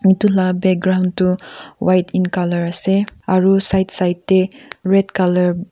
etu laga background tu white in colour ase aru side side te red --